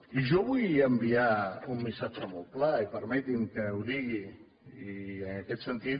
i jo vull enviar un missatge molt clar i permeti’m que ho digui i en aquest sentit